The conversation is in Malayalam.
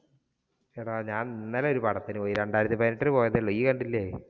എടാ ഞാൻ ഇന്നലെ ഒരു പടത്തിന് പോയി. രണ്ടായിരത്തി പതിനെട്ടിന് പോയതേയുള്ളൂ. ഇയ്യ് കണ്ടില്ലേ?